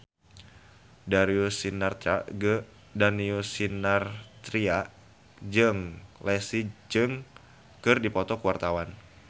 Darius Sinathrya jeung Leslie Cheung keur dipoto ku wartawan